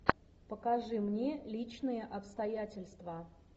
покажи мне личные обстоятельства